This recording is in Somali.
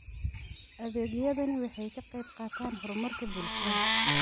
Adeegyadani waxay ka qayb qaataan horumarka bulshada.